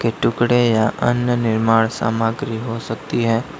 टुकड़े या अन्य निर्माण सामग्री हो सकती है।